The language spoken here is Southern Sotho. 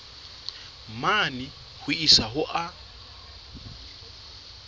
mane ho isa ho a